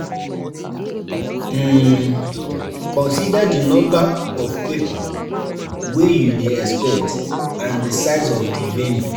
The type of event or holiday, go help you know how to plan for di event